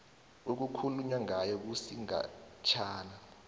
okukhulunywa ngalo kusigatshana